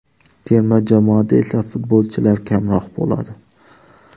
Terma jamoada esa futbolchilar kamroq bo‘ladi.